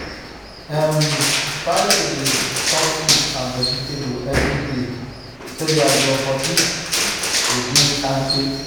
um try to dey chop fruit and vegetables every day so dat your body go dey kampe.